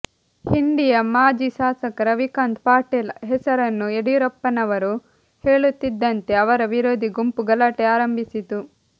ಹಿಂಡಿಯ ಮಾಜಿ ಶಾಸಕ ರವಿಕಾಂತ್ ಪಾಟೀಲ್ ಹೆಸರನ್ನು ಯಡಿಯೂರಪ್ಪನವರು ಹೇಳುತ್ತಿದ್ದಂತೆ ಅವರ ವಿರೋಧಿ ಗುಂಪು ಗಲಾಟೆ ಆರಂಭಿಸಿತು